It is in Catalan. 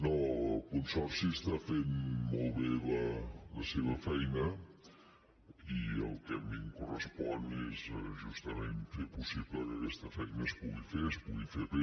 no el consorci està fent molt bé la seva feina i el que a mi em correspon és justament fer possible que aquesta feina es pugui fer es pugui fer bé